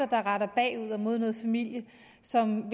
der retter bagud og mod noget familie som